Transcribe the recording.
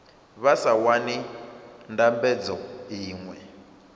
vha sa wani ndambedzo iṅwe